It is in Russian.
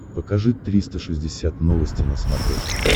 покажи триста шестьдесят новости на смотрешке